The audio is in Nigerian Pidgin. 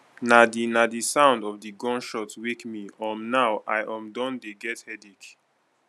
na di na di sound of di gun shot wake me um now i um don dey get headache